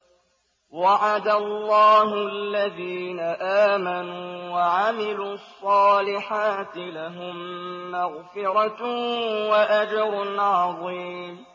وَعَدَ اللَّهُ الَّذِينَ آمَنُوا وَعَمِلُوا الصَّالِحَاتِ ۙ لَهُم مَّغْفِرَةٌ وَأَجْرٌ عَظِيمٌ